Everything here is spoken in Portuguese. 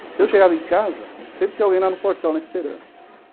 Então, eu chegava em casa, sempre tinha alguém lá no portão esperando.